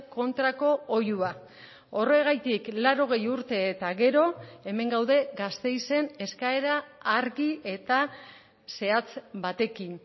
kontrako oihua horregatik laurogei urte eta gero hemen gaude gasteizen eskaera argi eta zehatz batekin